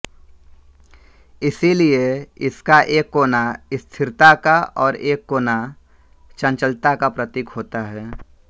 इसीलिए इसका एक कोना स्थिरता का और एक कोना चंचलता का प्रतीक होता है